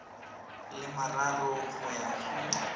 le mararo go ya go